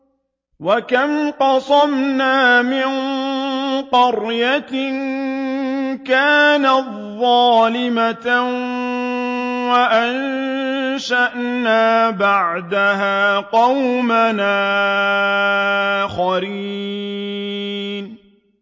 وَكَمْ قَصَمْنَا مِن قَرْيَةٍ كَانَتْ ظَالِمَةً وَأَنشَأْنَا بَعْدَهَا قَوْمًا آخَرِينَ